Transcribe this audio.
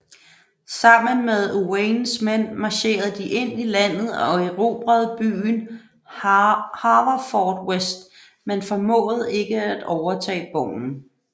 Sammen med Owains mænd marcherede de ind i landet og erobrede byen Haverfordwest men formåede ikke at overtage borgen